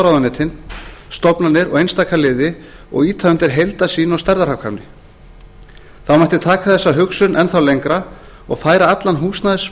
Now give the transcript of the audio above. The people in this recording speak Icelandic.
ráðuneytin stofnanirnar og einstaka liði og ýta undir heildarsýn og stærðarhagkvæmni þá mætti taka þessa hugsun enn þá lengra og færa allan